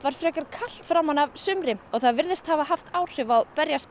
frekar kalt framan af sumri og það virðist hafa haft áhrif á